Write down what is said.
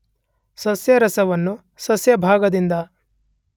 ಸಸ್ಯರಸವನ್ನು ಸಸ್ಯಭಾಗದಿಂದ